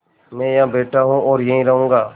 मैं यहाँ बैठा हूँ और यहीं रहूँगा